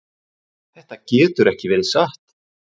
Þetta getur ekki verið satt.